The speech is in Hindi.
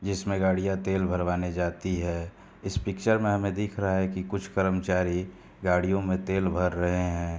जिसमे गाड़ियाँ तेल भरवाने जाती है इस पिक्चर में हमें दिख रहा है कि कुछ कर्मचारी गाड़ियों में तेल भर रहे हैं।